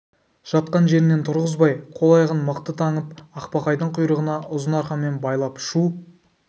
жатқан жерінен тұрғызбай қол-аяғын мықтап таңып ақбақайдың құйрығына ұзын арқанмен байлап шу